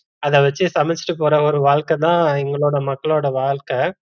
அத வச்சு சமைச்சுட்டு போற ஒரு வாழ்க்க தான் எங்களோட மக்களோட வாழ்க்க